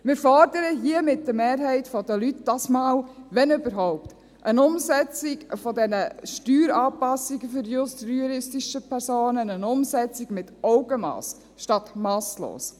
Wir fordern hier, mit der Mehrheit der Leute, dieses Mal, wenn überhaupt, eine Umsetzung dieser Steueranpassungen für die juristischen Personen, eine Umsetzung mit Augenmass statt masslos.